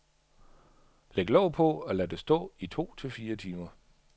Læg låg på, og lad det stå i to fire timer.